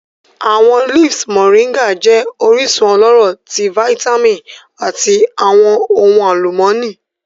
Awọn leaves Moringa jẹ orisun ọlọrọ ti vitamin ati awọn ohun alumọni.